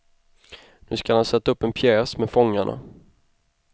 Nu skall han sätta upp en pjäs med fångarna.